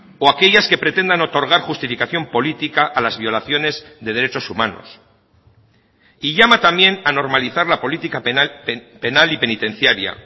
o aquellas que pretendan otorgar justificación política a las violaciones de derechos humanos y llama también a normalizar la política penal y penitenciaria